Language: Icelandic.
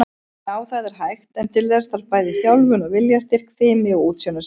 Já, það er hægt, en til þess þarf bæði þjálfun og viljastyrk, fimi og útsjónarsemi.